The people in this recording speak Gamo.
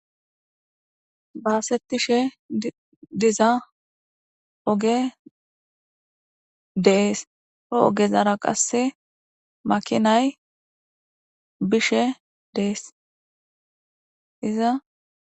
baasettishe diza oge dees he ogezara qasse makinay bishe de'es.